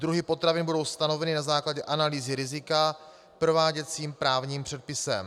Druhy potravin budou stanoveny na základě analýzy rizika prováděcím právním předpisem.